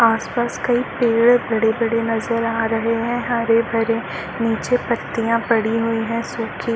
आस पास कई पेड़ बड़े बड़े नजर आ रहे है हरे भरे नीचे पत्तिया पड़ी हुई है सुखी --